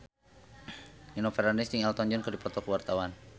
Nino Fernandez jeung Elton John keur dipoto ku wartawan